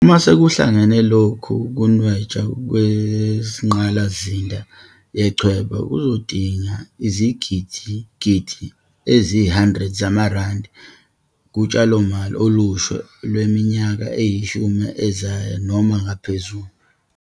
Uma sekuhlangene, lokhu kunwetshwa kwengqalasizinda yechweba kuzodinga izigidigidi eziyi-100 zamarandi kutshalomali olusha lwemi yaka eyishumi ezayo noma ngaphezulu.